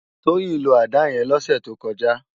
Toyin ló àdá yèn lòsè tókòjá